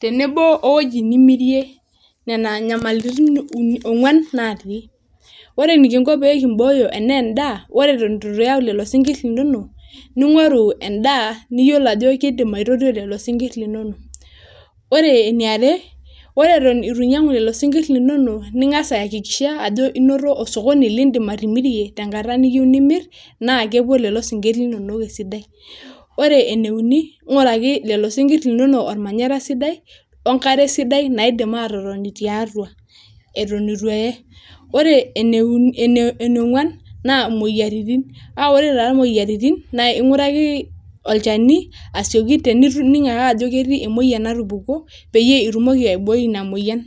tenebo we wuoji nimirie, nena nyamalitin ong'wan naati. Ore enekinko pee kimbooyo ene ndaa ore eton itu iyau lelo sinkirr linono, ning'oru endaa niyolo aju kidim aitotio lelo sinkirr linono. Ore eniare, ore eton ituinyang'u lelo sinkirr linono ning'as aiakikisha ajo inoto osokoni liindim atimirie tenkata niyeu nimir naa kepuo lelo sinkir linono esidai. Ore ene uni naa ing'uraki lelo sinkirr linono ormanyarra sidai o nkare sidai naidim atotoni tiatua eton itu eye. Ore ene onkuan, naa imoyiaritin a ore taa imoyiaritin naa ing'uraki olchani asioki tenining' ajo ketii emoyian natupukuo peyie itumoki aiboi ina moyian.